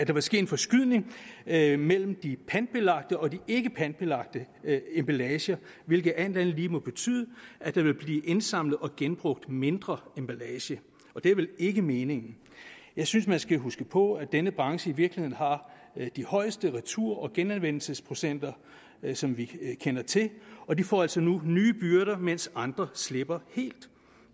vil ske en forskydning af mellem de pantbelagte og de ikkepantbelagte emballager hvilket alt andet lige må betyde at der vil blive indsamlet og genbrugt mindre emballage og det er vel ikke meningen jeg synes at man skal huske på at denne branche i virkeligheden har de højeste retur og genanvendelsesprocenter som vi kender til og de får altså nu nye byrder mens andre slipper helt